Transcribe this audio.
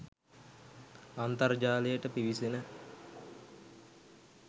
අන්තර්ජාලයට පිවිසෙන